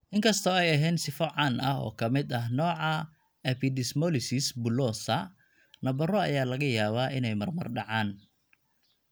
Inkastoo aysan ahayn sifo caan ah oo ka mid ah nooca epidermolysis bullosa, nabaro ayaa laga yaabaa inay marmar dhacaan.